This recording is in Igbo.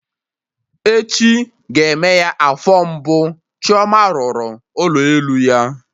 Echi ga-eme ya afọ mbụ Chioma rụrụ ụlọ elu ya